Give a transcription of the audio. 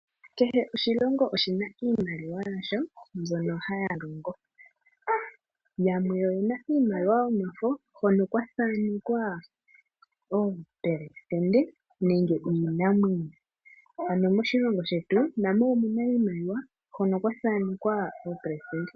Kehe oshilongo oshina iimaliwa yasho myono haya longo. Yamwe oyena iimaliwa yomafo hono kwa thanekwa omupelesitende nenge iinamwenyo. Ano moshilongo shetu namo omuna iimaliwa hoka kwa thanekwa omupelesitende.